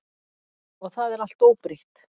Og það er allt óbreytt.